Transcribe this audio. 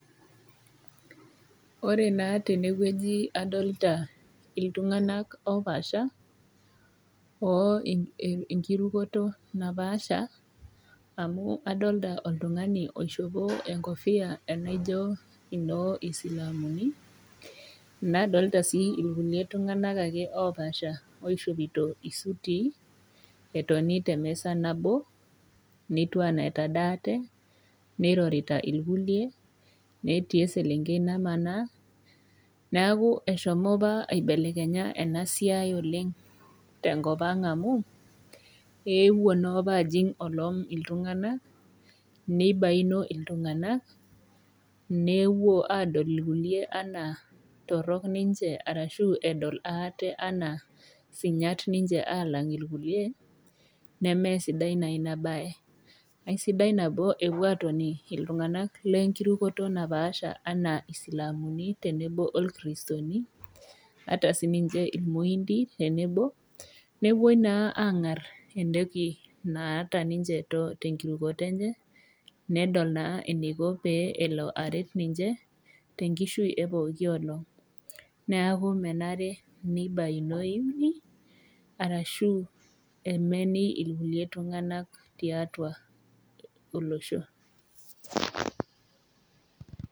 Ore naa tene wueji adolita iltung'anak opaasha oo enkirukoto napaasha, amu adolita oltung'ani oishopito enkofia naijo enoo silamuni , nadolita sii ake kulie tung'anak ake opaasha oishopito isutii etoni te emeza nabo, netiu anaa etadaate, neirorita ilkulie, netii eselenkei namanaa. Neaku eshomo opa ena siai aibelekenya oleng' tenkop ang' amu, eewuo naa opa ajing' olom iltung'ana, neibayuno iltung'anak, nepuo adol ilkulie anaa torok ninche arashu edol aate anaa sinyat ninche alang' ilkulie nemee sidai naa ina baye. Aisidai nabo epuo aatoni iltung'anak le enkirukoto napaasha anaa isilamuni tenebo o isilamuni, ata sininche illmuindin tenebo newuo naa ang'ar tenebo entoki naata ninche te enkirukoto enye, nedol naa eneiko pee elo aret ninche, tenkishui e pooki olong'. Neaku menare neibayunoini arashu emeni ilkulie tung'anak tiatua olosho.